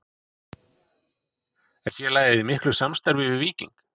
Er félagið í miklu samstarfi við Víking?